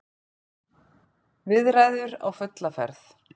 Viðræður á fulla ferð